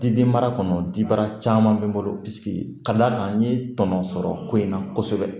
Diden mara kɔnɔ dibara caman bɛ n bolo ka d'a kan n ye tɔnɔ sɔrɔ ko in na kosɛbɛ